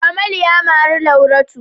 Kamal ya mari Lauratu.